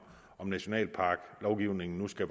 nationalparklovgivningen skal